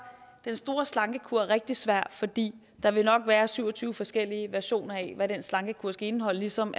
den store slankekur rigtig svær fordi der nok vil være syv og tyve forskellige versioner af hvad den slankekur skal indeholde ligesom